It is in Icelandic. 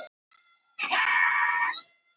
En fyrir mekt hvaða konungs?